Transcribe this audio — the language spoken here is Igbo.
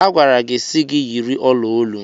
A gwara gị si gi yiri ọla olu.